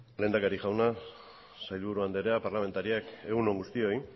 lehendakari jauna sailburu andrea parlamentarioak egun on guztioi